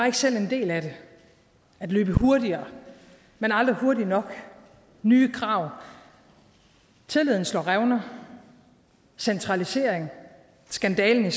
ikke selv en del af det at løbe hurtigere men aldrig hurtigt nok nye krav tilliden slår revner centralisering skandalen i